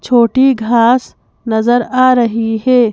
छोटी घास नजर आ रही है।